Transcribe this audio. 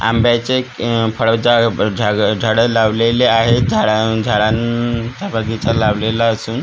आंब्याचे आह फळ झा अ झाग झाडं लावलेली आहेत झाडा झाडा न् चा बगीचा लावलेला असून